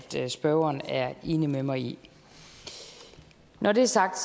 spørgeren er enig med mig i når det er sagt